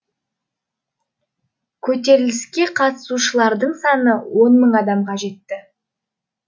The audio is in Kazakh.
көтеріліске қатысушылардың саны он мың мың адамға жетті